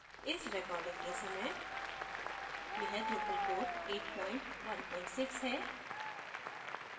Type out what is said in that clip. इस recording के समय यह drupal core 816 है